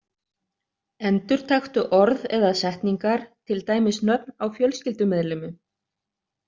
Endurtaktu orð eða setningar, til dæmis nöfn á fjölskyldumeðlimum.